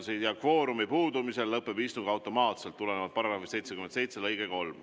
Kvoorumi puudumisel lõpeb istung automaatselt, see tuleneb § 77 lõikest 3.